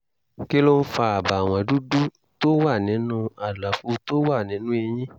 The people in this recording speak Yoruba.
kí ló ń fa àbàwọ́n dúdú tó wà nínú àlàfo tó wà nínú eyín?